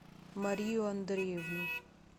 марию андреевну